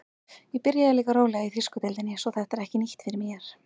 Ég byrjaði líka rólega í þýsku deildinni svo þetta er ekki nýtt fyrir mér.